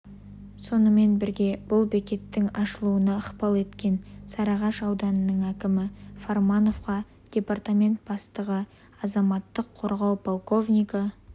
сонымен бірге бұл бекеттің ашылуына ықпал еткен сарыағаш ауданының әкімі пармановқа департамент бастығы азаматтық қорғау полковнигі